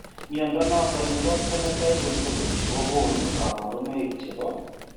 Mnyondo noton nebo Phenotype Ontology kogonu kabarunaik chebo